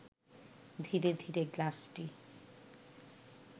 ধীরে ধীরে গ্লাসটি